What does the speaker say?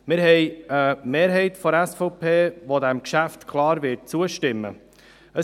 Wir haben eine Mehrheit der SVP, welche diesem Geschäft klar zustimmen wird.